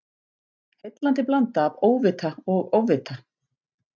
Heillandi blanda af óvita og ofvita.